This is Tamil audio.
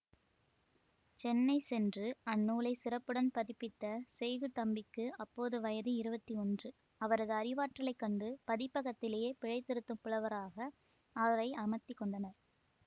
சென்னை சென்று அந்நூலைச் சிறப்புடன் பதிப்பித்த செய்குதம்பிக்கு அப்போது வயது இருவத்தி ஒன்று அவரது அறிவாற்றலைக் கண்டு பதிப்பகத்திலேயே பிழை திருத்தும் புலவராக அவரை அமர்த்தி கொண்டனர்